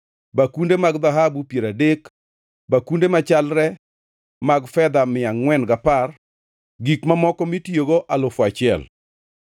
bakunde mag dhahabu piero adek, bakunde machalre mag fedha mia angʼwen gapar, gik mamoko mitiyogo alufu achiel.